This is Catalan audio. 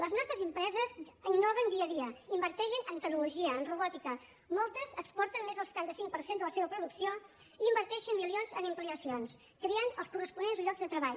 les nostres empreses innoven dia a dia inverteixen en tecnologia en robòtica moltes exporten més del setanta cinc per cent de la seva producció inverteixen milions en ampliacions i creen els corresponents llocs de treball